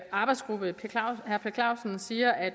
arbejdsgruppe herre per clausen siger at